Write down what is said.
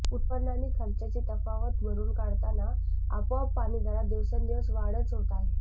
उत्पन्न आणि खर्चाची तफावत भरून काढताना आपोआप पाणीदरात दिवसेंदिवस वाढच होत आहे